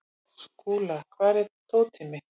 Skúla, hvar er dótið mitt?